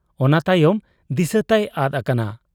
ᱚᱱᱟ ᱛᱟᱭᱚᱢ ᱫᱤᱥᱟᱹ ᱛᱟᱭ ᱟᱫ ᱟᱠᱟᱱᱟ ᱾